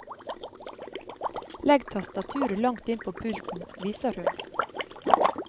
Legg tastaturet langt inn på pulten, viser hun.